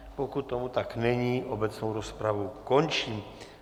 Pokud tomu tak není, obecnou rozpravu končím.